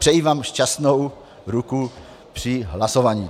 Přeji vám šťastnou ruku při hlasování.